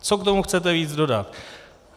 Co k tomu chcete víc dodat?